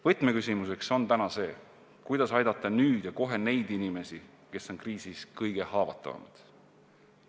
Võtmeküsimus on täna see, kuidas aidata nüüd ja kohe neid inimesi, kes on kriisis kõige haavatavamad.